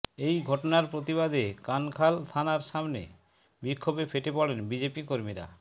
এই ঘটনার প্রতিবাদে কানখাল থানার সামনে বিক্ষোভে ফেটে পড়েন বিজেপি কর্মীরা